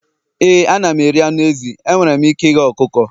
ee, ana m eri anụ ezi. ee, enwere m ike ighe ọkụkọ